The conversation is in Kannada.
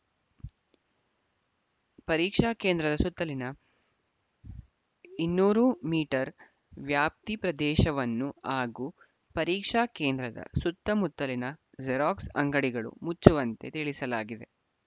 ಪರೀಕ್ಷಾ ಕೇಂದ್ರದ ಸುತ್ತಲಿನ ಇನ್ನೂರು ಮೀಟರ್ ವ್ಯಾಪ್ತಿ ಪ್ರದೇಶವನ್ನು ಹಾಗೂ ಪರೀಕ್ಷಾ ಕೇಂದ್ರದ ಸುತ್ತ ಮುತ್ತಲಿನ ಜೆರಾಕ್ಸ್‌ ಅಂಗಡಿಗಳು ಮುಚ್ಚುವಂತೆ ತಿಳಿಸಲಾಗಿದೆ